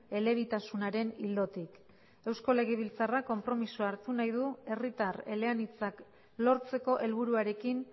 elebitasunaren ildotik eusko legebiltzarrak konpromisoa hartu nahi du herritar eleanitzak lortzeko helburuarekin